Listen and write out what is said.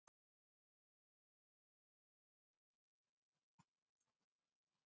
Þú hefur engan rétt til að laumast hér í kringum húsið.